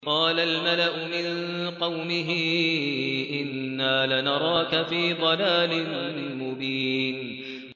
قَالَ الْمَلَأُ مِن قَوْمِهِ إِنَّا لَنَرَاكَ فِي ضَلَالٍ مُّبِينٍ